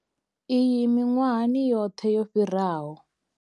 Iyi miṅwahani yoṱhe yo fhiraho.